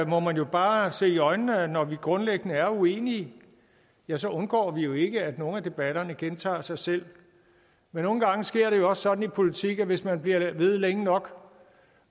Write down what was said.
må man bare se i øjnene at når vi grundlæggende er uenige ja så undgår vi jo ikke at nogle af debatterne gentager sig selv men nogle gange sker det jo også sådan i politik at hvis man bliver ved længe nok